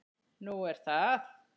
Nú er það?